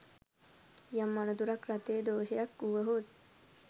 යම් අනතුරක්‌ රථයේ දෝෂයක්‌ වුවහොත්